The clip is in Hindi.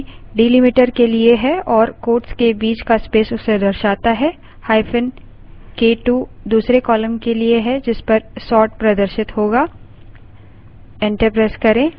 hyphen k2 दूसरे column के लिए है जिसपर sort प्रदर्शित होगा